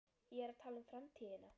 Ég er að tala um framtíðina.